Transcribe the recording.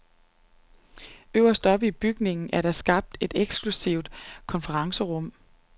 Øverst oppe i bygningen er der skabt et eksklusivt konferencerum.